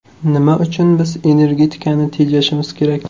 Nima uchun biz energetikani tejashimiz kerak?